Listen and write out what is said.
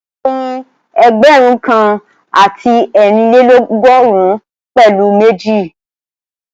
A lè pín ẹgbẹ̀rún kan àti eerinlelogọrun pẹ̀lu méjì